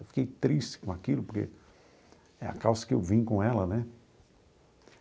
Eu fiquei triste com aquilo, porque é a calça que eu vim com ela, né?